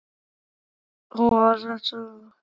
Þér hafið einn mildan og góðan herra og kóng.